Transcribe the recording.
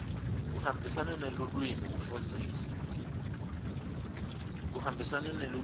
kuhambisana nelulwimi lekufundzisa